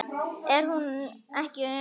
Er það ekki Una?